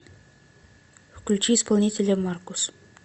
включи исполнителя маркус